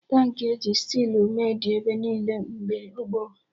Tankị e ji stilu mee dị ebe niile mgbe gboo